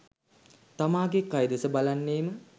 තමාගේ කය දෙස බලන්නේම